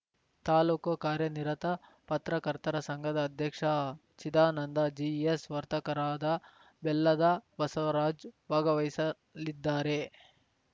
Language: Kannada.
ತಾಲ್ಲೂಕು ಕಾರ್ಯನಿರತ ಪತ್ರಕರ್ತರ ಸಂಘದ ಅಧ್ಯಕ್ಷ ಚಿದಾನಂದ ಜಿಎಸ್‌ ವರ್ತಕರಾದ ಬೆಲ್ಲದ ಬಸವರಾಜ್‌ ಭಾಗವಹಿಸಲಿದ್ದಾರೆ